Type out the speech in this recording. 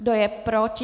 Kdo je proti?